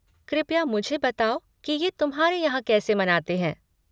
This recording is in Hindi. कृपया मुझे बताओ कि ये तुम्हारे यहाँ कैसे मनाते हैं।